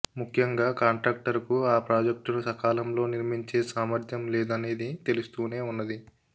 ము ఖ్యంగా కాంట్రాక్టరుకు ఆ ప్రాజెక్టును సకాలంలో నిర్మించే సామ ర్థ్యం లేదనేది తెలుస్తూనే ఉన్నది